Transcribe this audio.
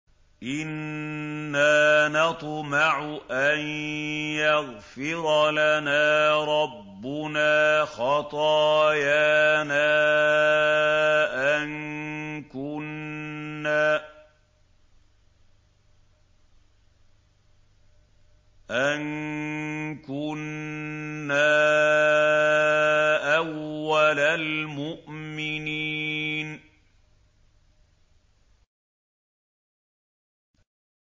إِنَّا نَطْمَعُ أَن يَغْفِرَ لَنَا رَبُّنَا خَطَايَانَا أَن كُنَّا أَوَّلَ الْمُؤْمِنِينَ